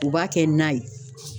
U b'a kɛ na ye.